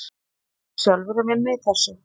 Varstu sjálfur að vinna í þessu?